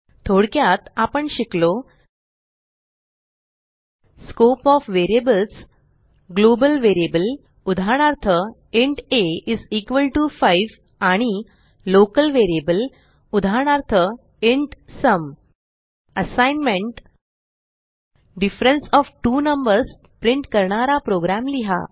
थोडक्यात आपण शिकलो scope of variables global variable उदाहरणार्थ इंट a5 आणि लोकल व्हेरिएबल उदाहरणार्थ int sum assignment difference of two numbers print करणारा प्रोग्रॅम लिहा